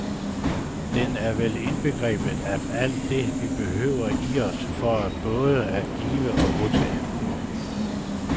Den er vel indbegrebet af alt det, vi behøver i os for både at give og modtage.